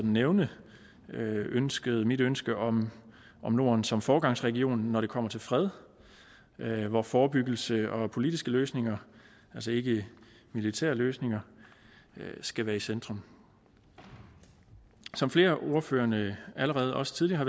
nævne mit ønske mit ønske om norden som foregangsregion når det kommer til fred hvor forebyggelse og politiske løsninger altså ikke militære løsninger skal være i centrum som flere af ordførererne også tidligere har